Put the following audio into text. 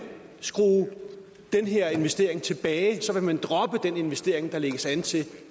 skrue den her investering tilbage så vil man droppe den investering der lægges an til